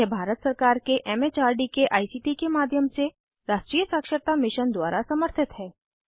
यह भारत सरकार के एम एच आर डी के आई सी टी के माध्यम से राष्ट्रीय साक्षरता मिशन द्वारा समर्थित है